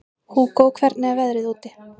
Hugó, hvernig er veðrið úti?